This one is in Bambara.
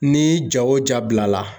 Ni ja o ja bila la.